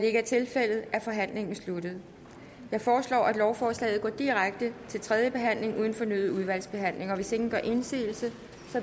ikke er tilfældet er forhandlingen sluttet jeg foreslår at lovforslaget går direkte til tredje behandling uden fornyet udvalgsbehandling hvis ingen gør indsigelse